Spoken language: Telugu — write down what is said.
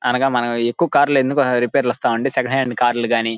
అనగా ఎక్కువ కార్ లు ఎందుకు రిపేర్ వస్తాయంటేసెకండ్ హేండిల్ కార్ లు గని--